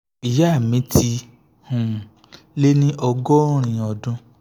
ìyá mi ti um lé ní ọgọ́rin ọdún